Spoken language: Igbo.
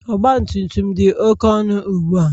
Ọgbatumtum dị oké ọnụ ugbua